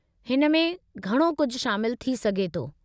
हिन में घणो कुझु शामिलु थी सघे थो।